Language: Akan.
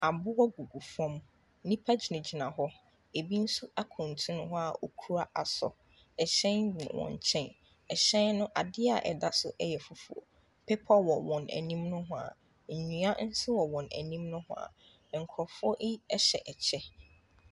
Aboɔ gugu fam. Nnipa gyinagyina hɔ. Ebi nso akuntunu hɔ a wɔkura asɔ. Hyɛn wɔ wɔn nkyɛn. Hyɛn no, adeɛ a ɛda so yɛ fufuo. Bepɔ wɔ wɔn anim nohoa. Nnua nso wɔ wɔn anim nohoa. Nkurɔfoɔ yi hyɛ kyɛ.